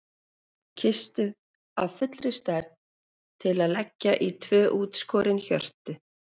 Kistu af fullri stærð til að leggja í tvö útskorin hjörtu.